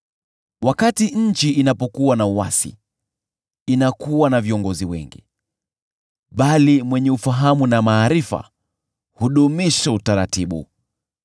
Wakati nchi inapokuwa na uasi, inakuwa na viongozi wengi, bali mwenye ufahamu na maarifa hudumisha utaratibu.